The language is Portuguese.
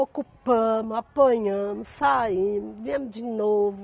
Ocupamos, apanhamos, saímos, viemos de novo.